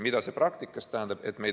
Mida see praktikas tähendab?